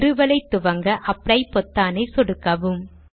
நிறுவலை துவங்க அப்ளை பொத்தானை சொடுக்கவும்